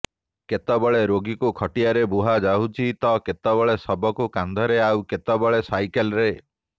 କେତେବେଳେ ରୋଗୀକୁ ଖଟିଆରେ ବୋହାଯାଉଛି ତ କେତେବେଳେ ଶବକୁ କାନ୍ଧରେ ଆଉ କେତେବେଳେ ସାଇକେଲରେ